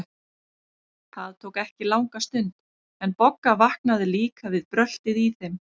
Það tók ekki langa stund, en Bogga vaknaði líka við bröltið í þeim.